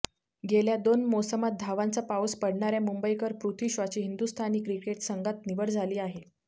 गेल्या दोन मोसमांत धावांचा पाऊस पाडणाऱया मुंबईकर पृथ्वी शॉची हिंदुस्थानी क्रिकेट संघात निवड झाली आहे